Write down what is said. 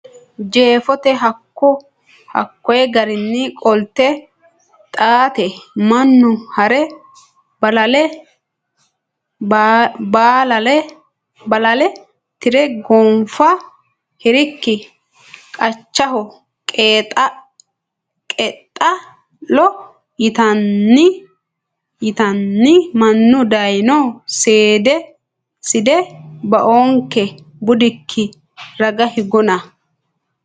Jeefote hakko geerrinni qolte Xaate mannu ha re Bolaale tire gonfa hirikki qachaho qeexaa lo yiteenna mannu dayno Side baoonkehe budikki raga higanno !